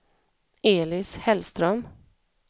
Elis Hellström